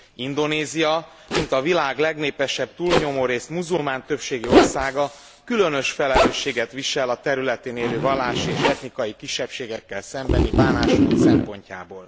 Indonézia, mint a világ legnépesebb túlnyomórészt muzulmán többségű országa különös felelősséget visel a területén élő vallási és etnikai kisebbségekkel szembeni bánásmód szempontjából.